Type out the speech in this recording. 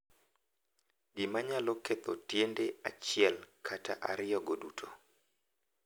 Gima nyalo ketho tiende achiel kata ariyogo duto.